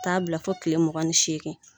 U t'a bila fo kile muga ni segin.